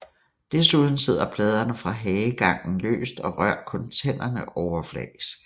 Desuden sidder pladerne fra hagegangen løst og rører kun tænderne overfladisk